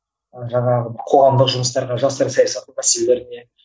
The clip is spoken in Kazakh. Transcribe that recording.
жаңағы қоғамдық жұмыстарға жастар саясаты мәселелеріне